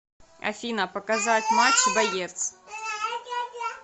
афина показать матч боец